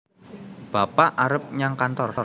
bapak arep nyang kantor